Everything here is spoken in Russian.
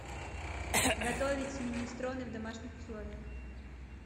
готовить минестроне в домашних условиях